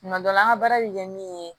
Tuma dɔ la an ka baara bɛ kɛ min ye